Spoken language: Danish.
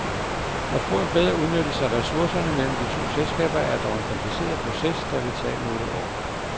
At få en bedre udnyttelse af ressourcerne mellem de to selskaber er dog en kompliceret proces, der vil tage nogle år.